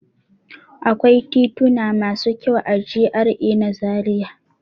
Akwai tituna masu kyau a GRA na Zariya.